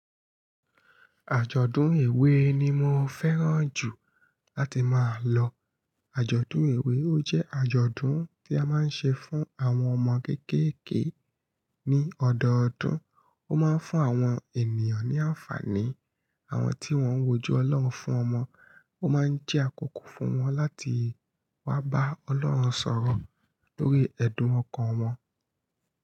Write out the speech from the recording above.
Àjọ̀dún èwe ni mo fẹ́ràn jù láti máa lọ. Àjọ̀dún èwe ó jẹ́ àjọ̀dún tí a máa ń ṣe fún àwọn ọmọ kéékèèké ní ọdọọdún. Ó máa ń fún àwọn ènìyàn ní àǹfààní. Àwọn tí wọ́n ń wojú Ọlọ́run fún ọmọ, ó máa ń jẹ́ àkókò fún wọn láti wá bá Ọlọ́run sọ̀rọ̀ lórí ẹ̀dùn ọkàn wọn.